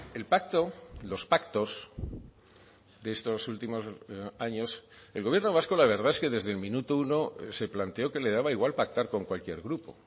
el pacto los pactos de estos últimos años el gobierno vasco la verdad es que desde el minuto uno se planteó que le daba igual pactar con cualquier grupo